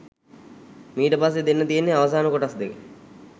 මීට පස්සේ දෙන්න තියෙන්නේ අවසාන කොටස් දෙක